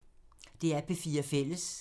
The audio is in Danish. DR P4 Fælles